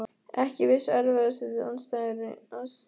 Ekki viss Erfiðasti andstæðingur?